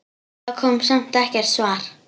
Það kom samt ekkert svar.